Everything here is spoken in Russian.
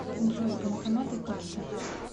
джой банкоматы карта